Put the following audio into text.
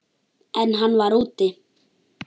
En hann var úti.